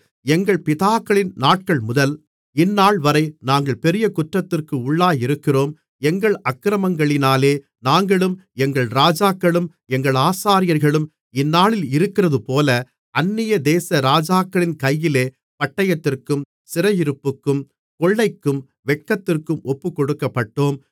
எங்கள் பிதாக்களின் நாட்கள்முதல் இந்நாள்வரை நாங்கள் பெரிய குற்றத்திற்கு உள்ளாயிருக்கிறோம் எங்கள் அக்கிரமங்களினாலே நாங்களும் எங்கள் ராஜாக்களும் எங்கள் ஆசாரியர்களும் இந்நாளிலிருக்கிறதுபோல அந்நியதேச ராஜாக்களின் கையிலே பட்டயத்திற்கும் சிறையிருப்புக்கும் கொள்ளைக்கும் வெட்கத்திற்கும் ஒப்புக்கொடுக்கப்பட்டோம்